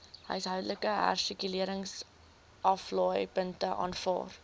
huishoudelike hersirkuleringsaflaaipunte aanvaar